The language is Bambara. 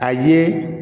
A ye